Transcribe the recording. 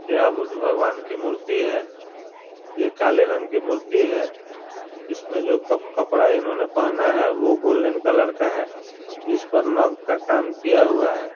यह गुरु भगवान की मूर्ति है ये काले रंग की मूर्ति है इसमें जो कप कपड़ा इन्होंने पहना है वो गोल्डन कलर का है जिस पर नग का काम किया हुआ है ।